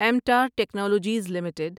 ایمٹار technologies limited